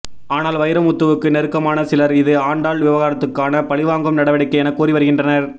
ஆனால் வைரமுத்துவுக்கு நெருக்கமான சிலர் இது ஆண்டாள் விவகாரத்துக்கான பழிவாங்கும் நடவடிக்கை என கூறி வருகின்றனர்